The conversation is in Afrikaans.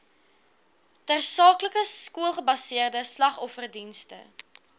tersaaklike skoolgebaseerde slagofferdienste